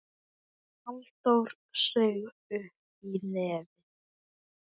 Halldór saug upp í nefið.